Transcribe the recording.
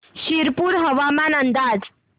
शिरपूर हवामान अंदाज